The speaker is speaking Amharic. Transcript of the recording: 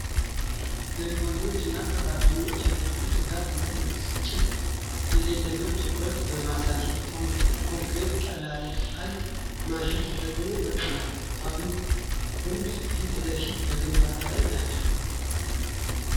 ግንበኞች እና ሠራተኞች የብርቱ ትጋት እና የብስጭት የሌለበት ትኩረት በማሳየት ኮንክሪት ቀላቃይ ማሽን ተጠቅመው በጥንታዊ ግንብ ፊት ለፊት በግንባታ ላይ ናቸው።